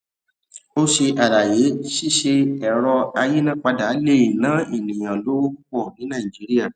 o ṣe àlàyé ṣíṣe ẹrọ ayínápadà le è nà ènìyàn lówó pupọ ní nàìjíría